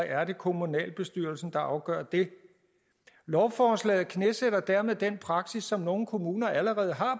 er det kommunalbestyrelsen der afgør det lovforslaget knæsætter dermed den praksis som nogle kommuner allerede har